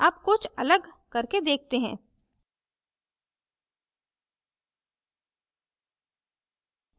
अब कुछ अलग करके देखते हैं